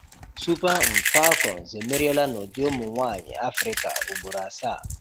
Super um Falcons emeriela n'ụdị ụmụ nwanyị Afrịka ugboro asaa.